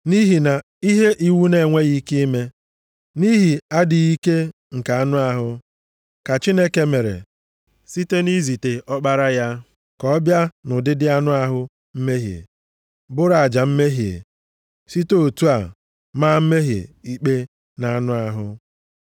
Nʼihi na ihe iwu na-enweghị ike ime, nʼihi adịghị ike nke anụ ahụ, ka Chineke mere, site nʼizite Ọkpara ya, ka ọ bịa nʼụdịdị anụ ahụ mmehie, bụrụ aja mmehie, site otu a, maa mmehie ikpe na anụ ahụ.